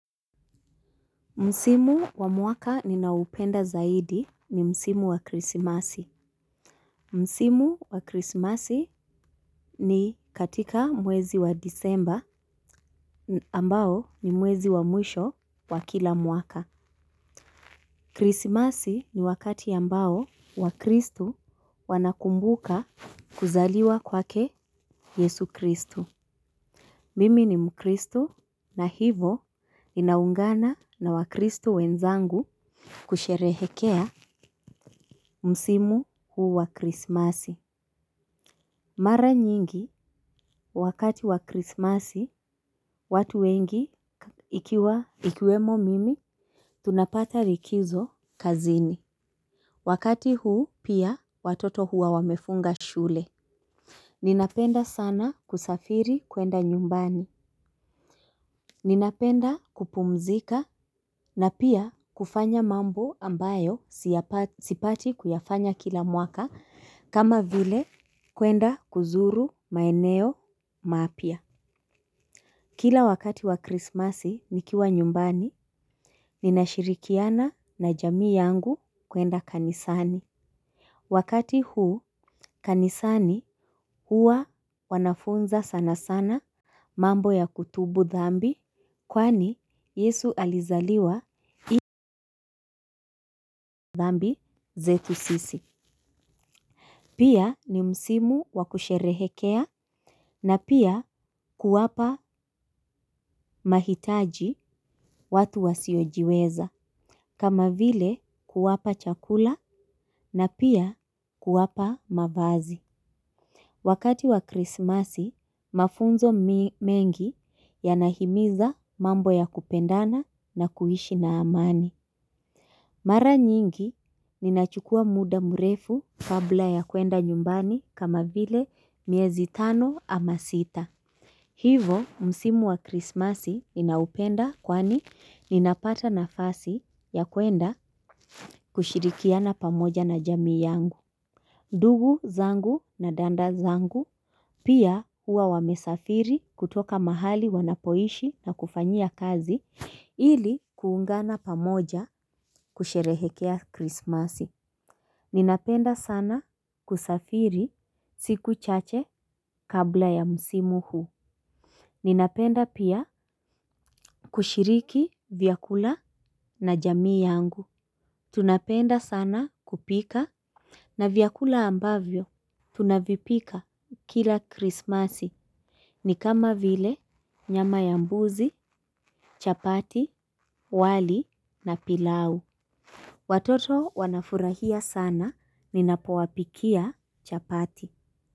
Msimu wa mwaka ninaoupenda zaidi ni msimu wa krisimasi. Msimu wa krisimasi ni katika mwezi wa disemba ambao ni mwezi wa mwisho wa kila mwaka. Krisimasi ni wakati ambao wakristu wanakumbuka kuzaliwa kwake yesu kristu. Mimi ni mkristu na hivo ninaungana na wakristu wenzangu kusherehekea. Msimu huu wa krismasi. Mara nyingi wakati wa krismasi. Watu wengi ikiwa ikiwemo mimi. Tunapata likizo kazini. Wakati huu pia watoto hua wamefunga shule. Ninapenda sana kusafiri kwenda nyumbani. Ninapenda kupumzika na pia kufanya mambo ambayo sipati kuyafanya kila mwaka kama vile kwenda kuzuru maeneo mapya. Kila wakati wa krismasi nikiwa nyumbani. Ninashirikiana na jamii yangu kuenda kanisani. Wakati huu kanisani hua wanafunza sana sana. Mambo ya kutubu dhambi kwani yesu alizaliwa ili, dhambi zetu sisi. Pia ni msimu wakusherehekea na pia kuwapa mahitaji watu wasiojiweza. Kama vile kuwapa chakula na pia kuwapa mavazi. Wakati wa krismasi, mafunzo mengi yanahimiza mambo ya kupendana na kuishi na amani. Mara nyingi, ninachukua muda mrefu kabla ya kuenda nyumbani kama vile miezi tano ama sita. Hivo msimu wa krismasi ninaupenda kwani ninapata nafasi ya kuenda kushirikiana pamoja na jami yangu. Ndugu zangu na dada zangu pia huwa wamesafiri kutoka mahali wanapoishi na kufanyia kazi ili kuungana pamoja kusherehekea krismasi. Ninapenda sana kusafiri siku chache kabla ya msimu huu. Ninapenda pia kushiriki vyakula na jamii yangu. Tunapenda sana kupika, na vyakula ambavyo tunavipika kila krismasi. Ni kama vile nyama ya mbuzi, chapati, wali na pilau. Watoto wanafurahia sana ninapowapikia chapati.